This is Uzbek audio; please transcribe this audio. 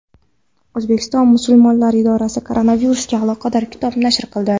O‘zbekiston musulmonlari idorasi koronavirusga aloqador kitob nashr qildi.